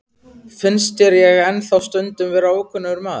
Finnst þér ég ennþá stundum vera ókunnugur maður?